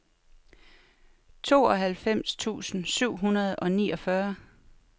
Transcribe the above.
tooghalvfems tusind syv hundrede og niogfyrre